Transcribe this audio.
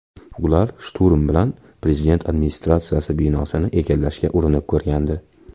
Ular shturm bilan prezident administratsiyasi binosini egallashga urinib ko‘rgandi.